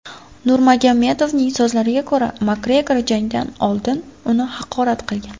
Nurmagomedovning so‘zlariga ko‘ra, Makgregor jangdan oldin uni haqorat qilgan.